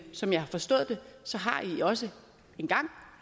som jeg har forstået det har i også engang